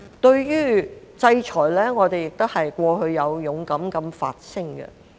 對於制裁，我們過去亦有勇敢地發聲。